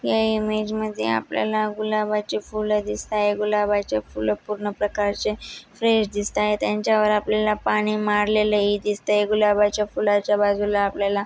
या इमेज मध्ये आपल्याला गुलाबाचे फूल दिसताय गुलाबाचे फूल पूर्ण प्रकारचे फ्रेश दिसताय त्यांच्या वर आपल्याला पाणी मारलेलं ही दिसतय. गुलाबाच्या फुलाच्या बाजूला आपल्याला--